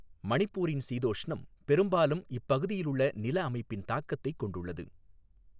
மணிப்பூரின் சீதோஷ்ணம் பெரும்பாலும் இப்பகுதியிலுள்ள நிலஅமைப்பின் தாக்கத்தைக் கொண்டுள்ளது.